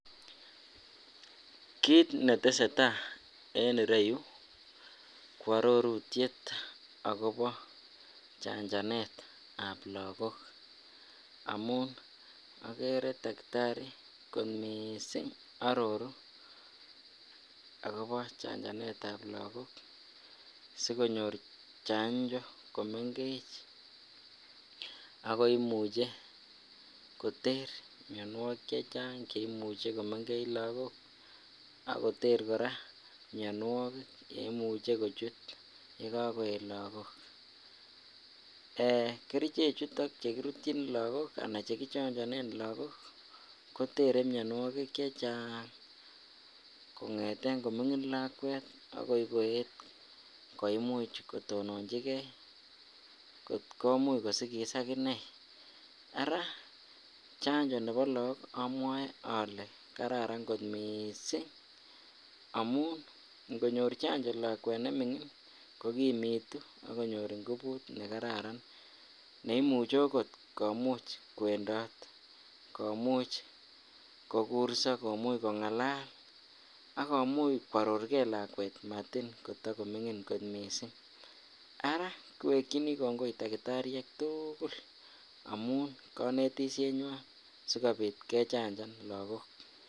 Kiit neteseta en ireyu ko arorutyet akobo chanjanetab lokok amun okere takitari kot mising aroru akobo chanjanetab lokok sikonyor chanjo komeng'ech ak ko imuche koter mionwokik chechang cheimuche komeng'ech lokok ak koter kora mionwokik cheimuche kochut yekokoet lokok , Um kerichechuton chekirutyin lokok anan chekichonjonen lokok kotere mionwokik chechang kong'eten koming'in lakwet akoi koyet koimuch kotononjike kot komuch kotononchike, araa chanjo nebo look omwoe olee kararan kot mising amun ing'onyor chanjo lakwet neming'in kokimitu ak konyor ingubut nekararan neimuche okot komuch kwendot, neimuch kokurso komuch keng'alal ak komuch kwororke lakwet matin kotokoming'in kot mising, araa kiwekyini kongoi takitariek tukul amun konetishenywan sikobit kechanjan lokok.